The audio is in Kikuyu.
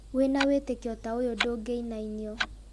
Wĩna wĩtĩkio ta ũyũ ndũngĩinainio